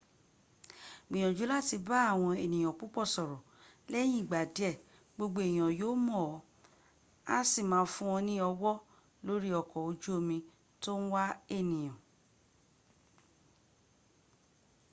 gbìyànjú láti bá àwọn ènìyàn púpọ̀ sọ̀rọ̀. lẹ́yìn ìgbà díẹ̀ gbogbo èèyàn yóò mọ̀ ọ́ á sì máa fún ọ ní ọwọ́ lórí ọkọ ojú omi ̀ tó ń wà ènìyà